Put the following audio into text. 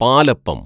palappam